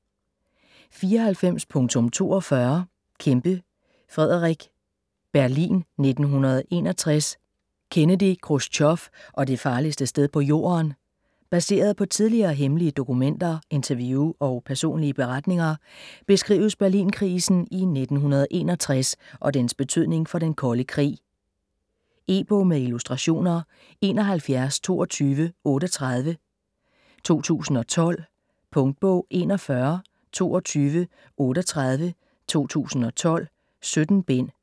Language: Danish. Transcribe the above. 94.42 Kempe, Frederick: Berlin 1961: Kennedy, Khrusjtjov og det farligste sted på jorden Baseret på tidligere hemmelige dokumenter, interview og personlige beretninger beskrives Berlinkrisen i 1961 og dens betydning for den kolde krig. E-bog med illustrationer 712238 2012. Punktbog 412238 2012. 17 bind.